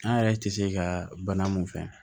An yɛrɛ tɛ se ka bana mun fɛ